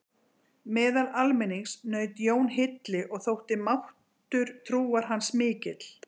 Meðal almennings naut Jón hylli og þótti máttur trúar hans mikill.